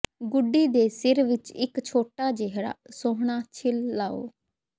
ਗੁੱਡੀ ਦੇ ਸਿਰ ਵਿਚ ਇਕ ਛੋਟਾ ਜਿਹਾ ਸੁਹਣਾ ਛਿੱਲ ਲਾਓ